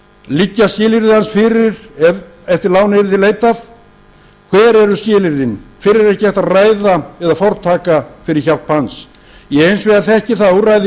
liggja skilyrði hans fyrir ef eftir láni yrði leitað hver eru skilyrðin fyrr er ekki hægt að ræða eða fortaka fyrir hjálp hans ég hins vegar þekki það úrræði